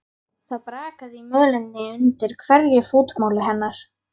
Það brakaði í mölinni undir hverju fótmáli hennar.